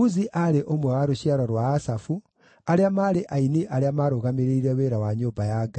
Uzi aarĩ ũmwe wa rũciaro rwa Asafu, arĩa maarĩ aini arĩa maarũgamĩrĩire wĩra wa nyũmba ya Ngai.